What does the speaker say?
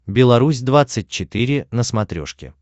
беларусь двадцать четыре на смотрешке